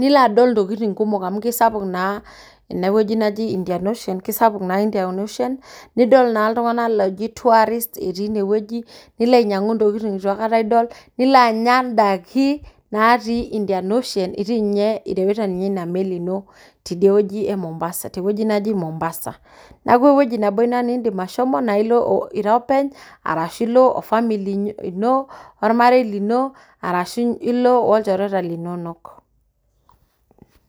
nilo adol ntokitin kumok amu kesapuk naa eneweji neji indian ocean[cs[ kesapuk naa indian ocean nidol naa iltungana looji tourist etii ine weji, nilo ainyang'u intokitin neitu aikata idol. Nilo anya indaiki natii indian ocean itii ninye, irewita ninye ina meli ino teine weji e Mombasa tewueji neji Mombasa. Naaku ewueji nabo ina niindim ashomo, naa ilo ira openy arashu ilo ofamili ino, ormarei lino arashu ilo olchoreta linonok.